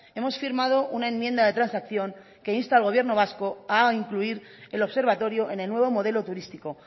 hemos firmado una enmienda de transacción que insta al gobierno vasco a incluir el observatorio en el nuevo modelo turístico